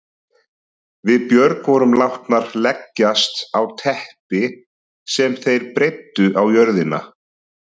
Við Björg vorum látnar leggjast á teppi sem þeir breiddu á jörðina.